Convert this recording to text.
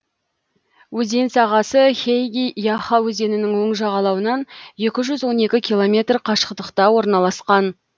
өзен сағасы хейги яха өзенінің оң жағалауынан екі жүз он екі километр қашықтықта орналасқан